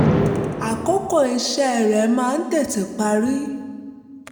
um àkókò iṣẹ́ rẹ̀ máa ń tètè parí